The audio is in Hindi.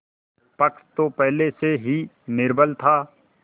पक्ष तो पहले से ही निर्बल था